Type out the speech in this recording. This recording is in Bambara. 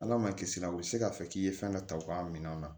Ala ma kisira u tɛ se k'a fɔ k'i ye fɛn dɔ ta u ka minɛnw na